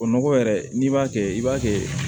O nɔgɔ yɛrɛ n'i b'a kɛ i b'a kɛ